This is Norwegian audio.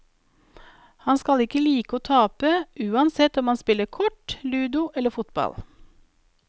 Han skal ikke like å tape, uansett om han spiller kort, ludo eller fotball.